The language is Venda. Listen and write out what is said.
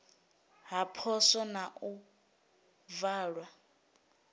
ha poswo na u valwa